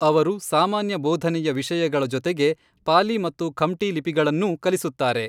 ಅವರು ಸಾಮಾನ್ಯ ಬೋಧನೆಯ ವಿಷಯಗಳ ಜೊತೆಗೆ ಪಾಲಿ ಮತ್ತು ಖಮ್ಟಿ ಲಿಪಿಗಳನ್ನೂ ಕಲಿಸುತ್ತಾರೆ.